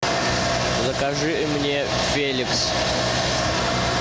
закажи мне феликс